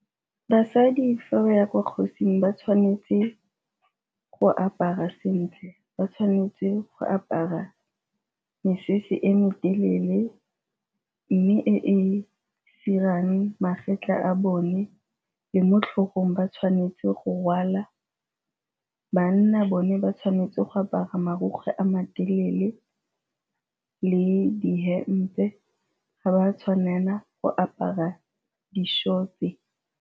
Basadi fa ba ya ko kgosing ba tshwanetse go apara sentle, ba tshwanetse go apara mesese e me telele mme e e dirang magetla a bone le mo tlhogong ba tshwanetse go rwala. Banna bone ba tshwanetse go apara marukgwe a matelele le di-hemp-e ga ba tshwanela go apara di-short-e.